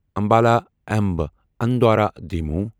Ambala Amb Andaura demo